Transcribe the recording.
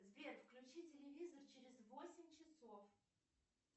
сбер включи телевизор через восемь часов